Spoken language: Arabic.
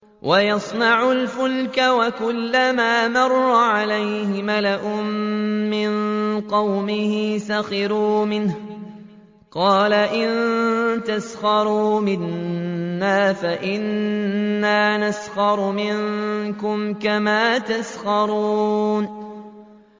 وَيَصْنَعُ الْفُلْكَ وَكُلَّمَا مَرَّ عَلَيْهِ مَلَأٌ مِّن قَوْمِهِ سَخِرُوا مِنْهُ ۚ قَالَ إِن تَسْخَرُوا مِنَّا فَإِنَّا نَسْخَرُ مِنكُمْ كَمَا تَسْخَرُونَ